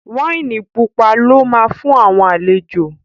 Wáìnì pupa lọ́ ma fún àwọn àlejò